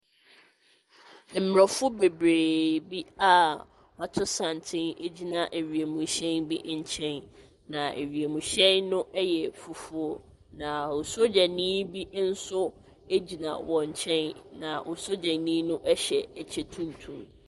Aborɔfo bebree bi a wɔato santene gyina wiemhyɛn bi nkyɛn, na wiemhyɛn no yɛ fufuo, na sogyani bi nso gyina wɔn nkyɛn. na osogyani no hyɛ kyɛ tuntum.